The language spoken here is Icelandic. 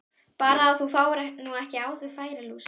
Bara að þú fáir nú ekki á þig færilús!